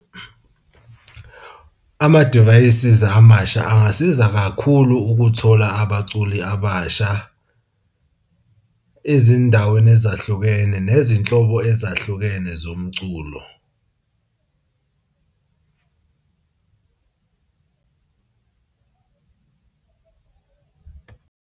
Amadivayisi amasha angasiza kakhulu ukuthola abaculi abasha ezindaweni ezahlukene nezinhlobo ezahlukene zomculo.